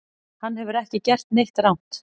Hann hefur ekki gert neitt rangt